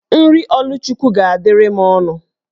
Nri Oluchukwu ga-adịrị m ọnụ